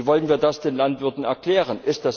Wie wollen wir das den Landwirten erklären?